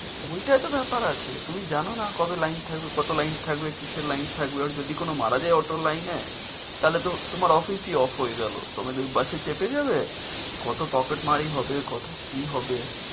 ওইটা তো ব্যাপার আছে তুমি জানো না কবে line থাকবে কত line থাকবে কিসের line থাকবে আর যদি কোনো মারা যায় auto র line এ তাহলে তো তোমার office ই off হয়ে গেলো তোমাদের বাসে চেপে যাবে কতো পকেট মারি হবে কতো কি হবে।